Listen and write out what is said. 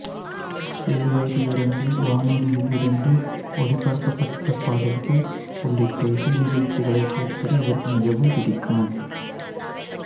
சிறு வயதிலிருந்தே வானொலியில் இருந்து ஒளிபரப்பப்பட்ட பாடல்கள் உள்ளிட்ட இசை நிகழ்ச்சிகளைக் கேட்பது இவருக்கு மிகவும் பிடிக்கும்